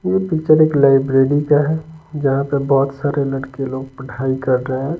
ये पिक्चर एक लाइब्रेरी का है जहां पर बहुत सारे लड़के लोग पढ़ाई कर रहे हैं।